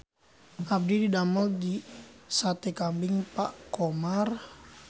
Abdi didamel di Sate Kambing Pak Khomar